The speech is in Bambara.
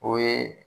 O ye